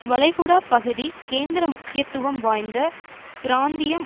வளைகுடா பகுதி கேந்திர முக்கியத்துவம் வாய்ந்த பிராந்தியம்